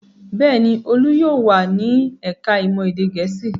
Bẹ́ẹ̀ ni, Olú yóò wà ní ẹ̀ka-ìmọ̀ èdè Gẹ̀ẹ́sì.